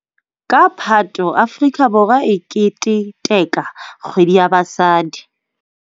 Ka Phato Afrika Borwa e keteteka Kgwedi ya Basadi.